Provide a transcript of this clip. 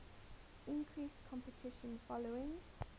increased competition following